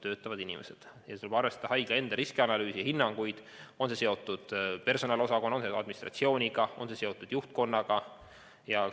Eelkõige tuleb arvestada haigla enda riskianalüüsi ja hinnanguid – on see seotud personaliosakonna või administratsiooniga, juhtkonnaga.